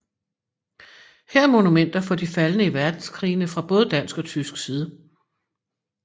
Her er monumenter for de faldne i verdenskrigene fra både dansk og tysk side